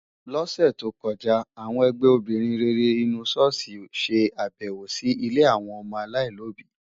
Lọ́sẹ̀ tó kọjá, àwọn ẹgbẹ́ obìnrin rere inú ṣọ́ọ̀ṣì ṣe àbẹ̀wò sí ilé àwọn ọmọ aláìlóbìí.